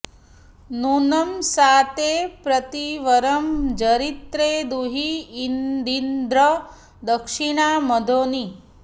नू॒नं सा ते॒ प्रति॒ वरं॑ जरि॒त्रे दु॑ही॒यदि॑न्द्र॒ दक्षि॑णा म॒घोनी॑